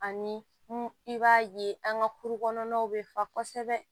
Ani i b'a ye an ka kuru kɔnɔnaw bɛ fa kosɛbɛ